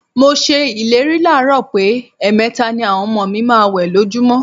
Mo s̩e ìlérí láàárò̩ pé è̩è̩me̩ta ni àwo̩n o̩mo̩ mi ma máa wè̩ lójúmó̩.